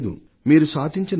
మీరు సాధించిన 89